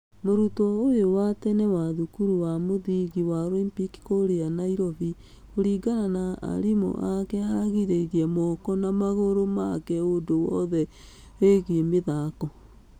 Mũrutwo ũyũ wa tene wa thukuru wa mũthingi wa Olympic kũrĩa nyairobi kũringana na arimũ ake aragĩririe mũko na magũrũ make ũndũ wothe ũigie mĩthako.